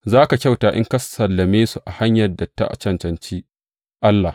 Za ka kyauta in ka sallame su a hanyar da ta cancanci Allah.